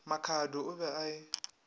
makhado o be a e